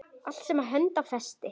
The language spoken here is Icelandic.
Allt sem hönd á festi.